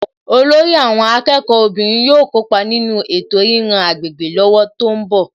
Olórí àwọn akẹ́kọ̀ọ́ obìnrin yóò kópa nínú ètò ríran agbègbè lọ́wọ́ tó ń bọ̀